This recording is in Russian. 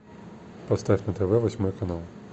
поставь на тв восьмой канал